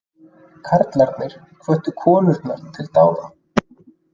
Karlarnir hvöttu konurnar til dáða